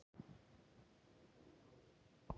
Alda, hækkaðu í hátalaranum.